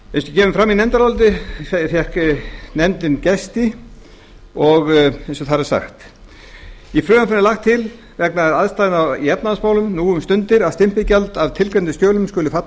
kemur fram í nefndaráliti fékk nefndin gesti í frumvarpinu er lagt til vegna aðstæðna í efnahagsmálum nú um stundir að stimpilgjald af tilgreindum skjölum skuli falla